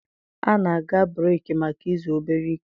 A na-aga breeki maka izu obere ike.